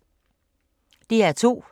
DR2